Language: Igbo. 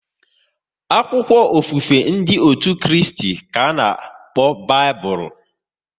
Akwụkwọ ofufe ndị otú Kristi bụ Baịbụl